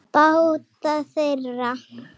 Báta þeirra